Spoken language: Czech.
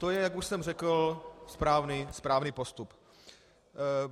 To je, jak už jsem řekl, správný postup.